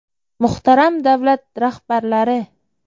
Muhtaram davlat rahbarlari!